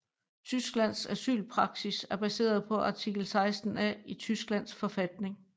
Tysklands asylpraksis er baseret på artikel 16a i Tysklands forfatning